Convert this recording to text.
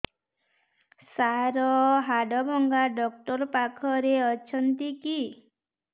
ସାର ହାଡଭଙ୍ଗା ଡକ୍ଟର ପାଖରେ ଅଛନ୍ତି କି